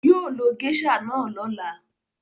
Yóò lo géíṣà náà lọ́la.